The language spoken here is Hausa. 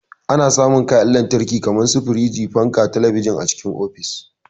Ana samun kayan lantarki kamar su firiji, fanka, talabijin a cikin ofis.